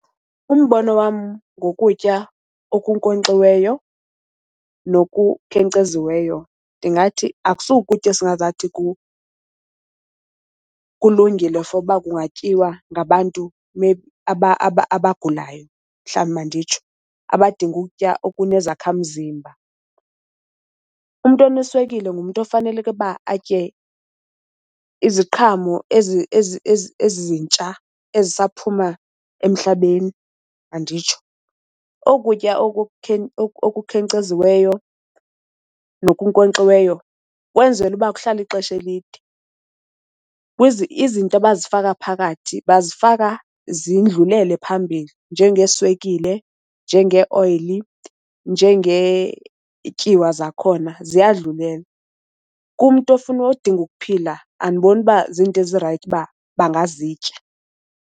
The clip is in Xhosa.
Umbono wam ngokutya okunkonkxiweyo nokukhenkceziweyo ndingathi akusuko ukutya esingenza angathi kulungile for uba kungatyiwa ngabantu abagulayo mhlawumbi manditsho, abadinga ukutya okunezakhamzimba. Umntu oneswekile ngumntu ofaneleke uba atye iziqhamo ezintsha ezisaphuma emhlabeni manditsho. Oku kutya okukhenkceziweyo nokunkonkxiweyo kwenzela uba kuhlale ixesha elide. Izinto abazifaka phakathi bazifaka zindlulele phambili njengeeswekile, njengeoyili, njengetyiwa zakhona ziyadlulela. Kumntu ofuna odinga ukuphila andiboni uba zinto ezirayithi uba bangazitya.